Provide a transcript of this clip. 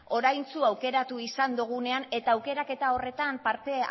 oraintsu aukeratu izan dugunean eta aukeraketa horretan parte